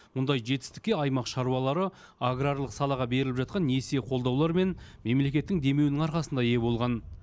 мұндай жетістікке аймақ шаруалары аграрлық салаға беріліп жатқан несие қолдаулар мен мемлекеттің демеуінің арқасында ие болған